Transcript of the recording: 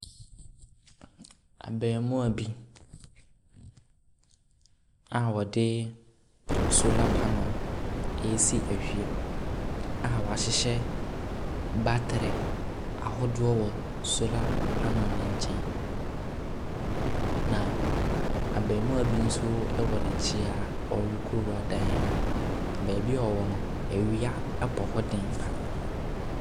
Abɛmoa bi a ɔde solar panel resi ɛwia mu a wahyehyɛ batre ahodoɔ wɔ solar panel no nkyɛn. Na abɛmoa bi nso ɛwɔ nɛkyi a ɔrekora dan mu. baabi a ɔwɔ no ɛwia ɛbɔ hɔ den paa.